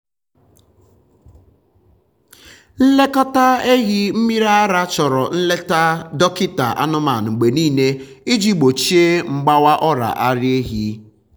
nlekọta ehi mmiri ara chọrọ nleta dọkịta anụmanụ mgbe niile iji gbochie mgbawa ọrịa ara ehi.